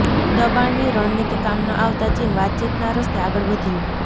દબાણની રણનીતિ કામ ન આવતા ચીન વાતચીતના રસ્તે આગળ વધ્યું